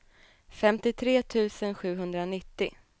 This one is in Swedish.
femtiotre tusen sjuhundranittio